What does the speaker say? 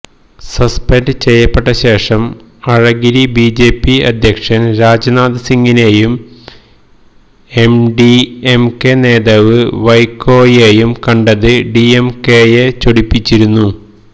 suspend ചെയ്യപ്പെട്ട ശേഷം അഴഗിരി ബിജെപി അധ്യക്ഷന് രാജ്നാഥ് സിംഗിനെയും എംഡിഎംകെ നേതാവ് വൈക്കോയെയും കണ്ടത് ഡിഎംകെയെ ചൊടിപ്പിച്ചിരുന്നു